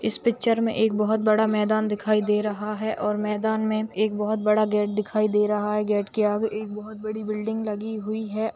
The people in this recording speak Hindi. इस पिक्चर में एक बहुत बड़ा मैदान दिखाई दे रहा है और मैदान में एक बहुत बड़ा गेट दिखाई दे रहा है गेट के आगे एक बहुत बड़ी बिल्डिंग लगी हुुई है।